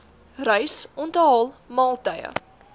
reis onthaal maaltye